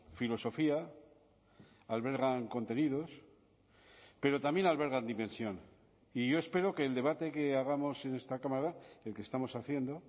filosofía albergan contenidos pero también albergan dimensión y yo espero que el debate que hagamos en esta cámara el que estamos haciendo